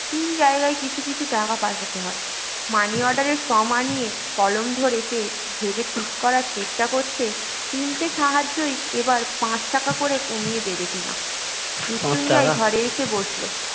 তিন জায়গায় কিছু কিছু টাকা পাঠাতে হয় money order এর form আনিয়ে কলম ধরে সে ভেবে ঠিক করবার চেষ্টা করছে তিনটি সাহায্য এবার পাঁচ টাকা করে কমিয়ে দেবে কি না মৃত্যুঞ্জয় ঘরে এসে বসল